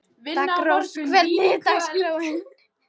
Daggrós, hvernig er dagskráin?